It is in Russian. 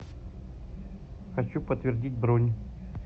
хочу подтвердить бронь